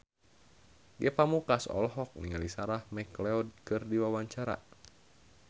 Ge Pamungkas olohok ningali Sarah McLeod keur diwawancara